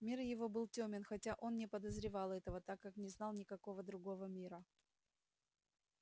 мир его был тёмен хотя он не подозревал этого так как не знал никакого другого мира